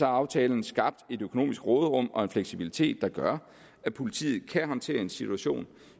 aftalen skabt et økonomisk råderum og en fleksibilitet der gør at politiet kan håndtere en situation